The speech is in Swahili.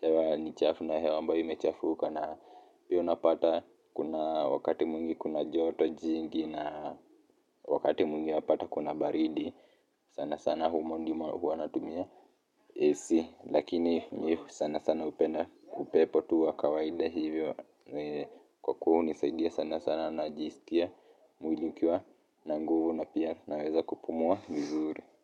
hewa ni chafu na hewa ambayo imechafuka na hiyo unapata kuna wakati mwingi kuna joto jingi na wakati mwngi unapata kuna baridi sana sana humo ndimo huwa natumia ac lakini mi sana sana hupenda upepo tu wa kawaida hivyo ni kwa kuwa hunisaidia sana sana najisikia mwili ikiwa na nguvu na pia naweza kupumua vizuri.